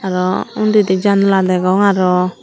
ariw undidi janla degong arow.